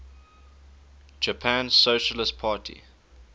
japan socialist party